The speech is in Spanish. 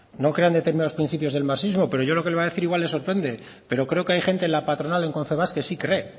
no crea en determinados principios del marxismo pero yo lo que le voy a decir igual le sorprende pero yo creo que hay gente en la patronal en confebask que sí cree